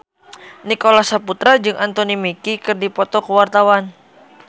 Nicholas Saputra jeung Anthony Mackie keur dipoto ku wartawan